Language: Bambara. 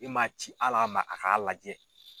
I m'a ci hali a ma a k'a lajɛ.